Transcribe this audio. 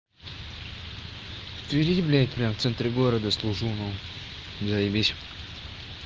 в твери блядь прямо в центре города служу ну заебись